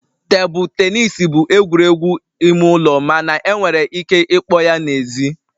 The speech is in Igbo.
Tebụl tenis bụ egwuregwu ime ụlọ mana enwere ike ịkpọ ya n'èzí